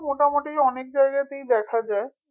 মোটামুটি অনেক জায়গাতেই দেখা যায়